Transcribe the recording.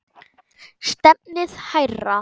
Stefnið hærra.